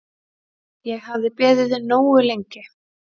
Ég hafði beðið nógu lengi.